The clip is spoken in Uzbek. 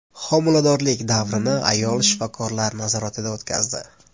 Homiladorlik davrini ayol shifokorlar nazoratida o‘tkazdi.